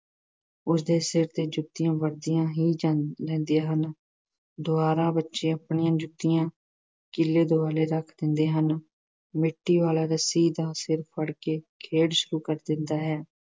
ਉਸ ਦੇ ਸਿਰ ਤੇ ਜੁੱਤੀਆਂ ਵਰ੍ਹਦੀਆਂ ਹੀ ਰਹਿੰਦ ਰਹਿੰਦੀਆਂ ਹਨ। ਦੁਬਾਰਾ ਬੱਚੇ ਆਪਣੀਆਂ ਜੁੱਤੀਆਂ ਕੀਲੇ ਦੁਆਲੇ ਰੱਖ ਦੇਂਦੇ ਹਨ। ਮੀਟੀ ਵਾਲਾ ਰੱਸੀ ਦਾ ਸਿਰਾ ਫੜ ਕੇ ਖੇਡ ਸ਼ੁਰੂ ਕਰ ਦਿੰਦਾ ਹੈ।